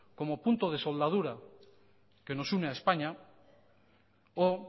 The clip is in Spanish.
como punto de soldadura que nos une a españa o